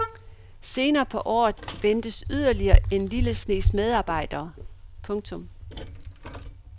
Senere på året ventes yderligere en lille snes medarbejdere. punktum